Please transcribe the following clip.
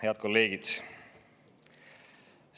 Head kolleegid!